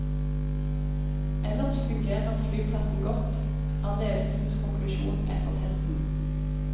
Ellers fungerer flyplassen godt, er ledelsens konklusjon etter testen.